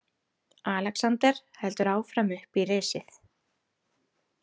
Alexander heldur áfram upp í risið.